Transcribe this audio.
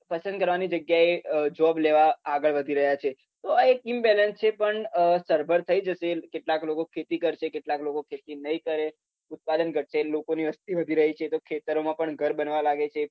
પસંદ કરવાની જગ્યાએ અમ job લેવા આગળ વધી રહ્યા છે તો આ એક imbalance છે પણ અમ સરભર થઇ જશે કેટલાક લોકો ખેતી કરશે કેટલાક લોકો ખેતી નઈ કરે ઉત્પાદન ઘટશે લોકોની વસ્તી વધી રહી છે તો ખેતરોમાં પણ ઘર બનવા લાગે છે